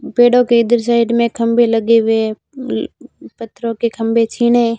पेड़ों के इधर साइड में खंभे लगे हुए हैं अह पत्थरों के खंभे छीने--